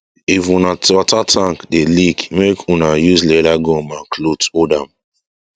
if wuna water tank dey leak make wuna use leather gum and cloth hold am